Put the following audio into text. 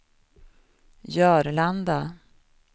Jörlanda